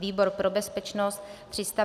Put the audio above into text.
Výbor pro bezpečnost: